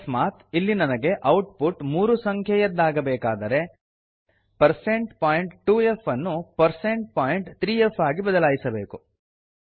ಅಕಸ್ಮಾತ್ ಇಲ್ಲಿ ನನಗೆ ಔಟ್ ಪುಟ್ ಮೂರು ಸಂಖ್ಯೆಯದ್ದಾಗಬೇಕಾದರೆ 160 ಪಾಯಿಂಟ್ 2ಫ್ ಅನ್ನು160 ಪಾಯಿಂಟ್ 3ಫ್ ಆಗಿ ಬದಲಾಯಿಸಬೇಕು